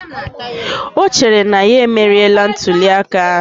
O chere na ya emeriela ntuliaka ahụ